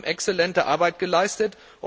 Sie haben exzellente Arbeit geleistet.